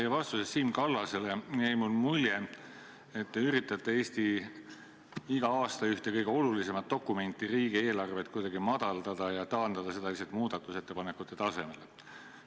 Teie vastusest Siim Kallasele jäi mulle mulje, et te üritate Eesti iga-aastast üht kõige olulisemat dokumenti, riigieelarvet, kuidagi madaldada ja taandada seda lihtsalt muudatusettepanekute tasemele.